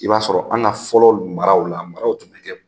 I b'a sɔrɔ an ka fɔlɔ maraw la, maraw tun bɛ kɛ